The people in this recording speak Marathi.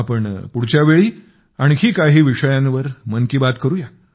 आपण पुढच्या वेळी आणखी काही विषयांवर मन की बात करुया